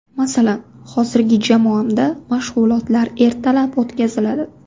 Masalan, hozirgi jamoamda mashg‘ulotlar ertalab o‘tkaziladi.